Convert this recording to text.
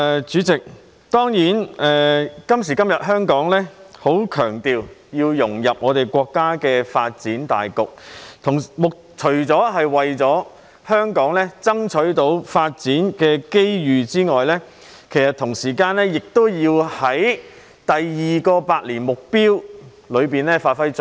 主席，當然，今時今日香港社會強調要融入國家的發展大局，除為香港爭取發展機遇外，同時亦要在國家的"兩個一百年"奮鬥目標中發揮作用。